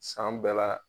San bɛɛ la